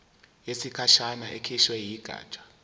yesikhashana ekhishwe yigatsha